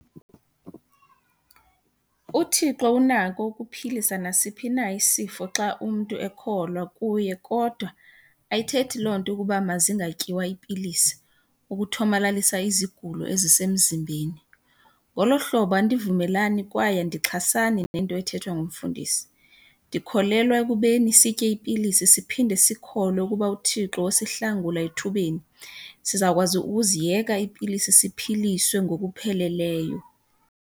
UThixo unako ukuphilisa nasiphi na isifo xa umntu ekholwa kuye kodwa ayithethi loo nto ukuba mazingatyiwa iipilisi ukuthomalalisa izigulo ezisemzimbeni. Ngolo hlobo, andivumelani kwaye andixhasani nento ethethwa ngumfundisi. Ndikholelwa ekubeni sitye iipilisi siphinde sikholwe ukuba uThixo usihlangula ethubeni, sizawukwazi ukuziyeka iipilisi, siphiliswe ngokupheleleyo.